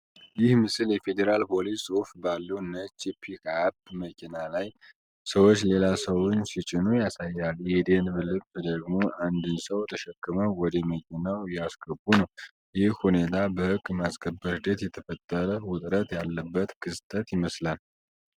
ይህ ምስል የፌዴራል ፖሊስ ጽሁፍ ባለው ነጭ ፒክአፕ መኪና ላይ፣ ሰዎች ሌላ ሰውን ሲጭኑ ያሳያል። የደንብ ልብስ ደግሞ አንድን ሰው ተሸክመው ወደ መኪናው እያስገቡ ነው። ይህ ሁኔታ በሕግ ማስከበር ሂደት የተፈጠረ ውጥረት ያለበት ክስተት ይመስላልን?